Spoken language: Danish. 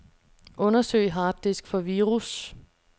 Undersøg harddisk for virus.